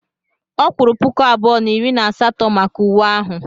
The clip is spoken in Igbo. Ọ kwuru puku abụọ na iri na asatọ maka uwe ahụ.